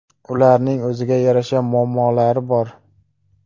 Ularning o‘ziga yarasha muammolari bor.